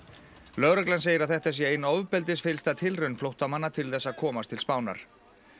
lögreglan segir að þetta sé ein tilraun flóttamanna til þess að komast til Spánar